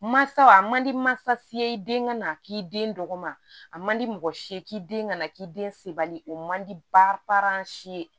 Mansaw a man di mansa den ka na k'i den dɔgɔma a man di mɔgɔ si ye k'i den ka na k'i den sebali o man di si ye